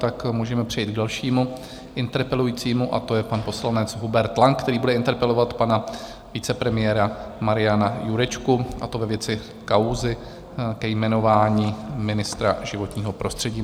Tak můžeme přejít k dalšímu interpelujícímu a to je pan poslanec Hubert Lang, který bude interpelovat pana vicepremiéra Mariana Jurečku, a to ve věci kauzy ke jmenování ministra životního prostředí.